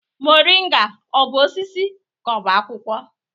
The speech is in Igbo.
Moringa ọ bụ osisi ka ọ bụ akwụkwọ?